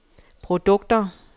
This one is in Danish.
produkter